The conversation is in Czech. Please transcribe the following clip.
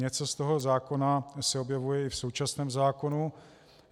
Něco z tohoto zákona se objevuje i v současném zákonu.